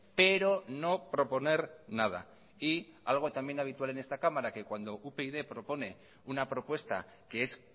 pero no proponer nada y algo también habitual en esta cámara que cuando upyd propone una propuesta que es